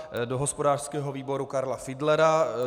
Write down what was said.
Do hospodářského výboru Karla Fiedlera.